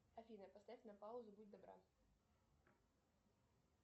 афина поставь на паузу будь добра